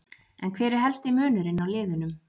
En hver er helsti munurinn á liðunum?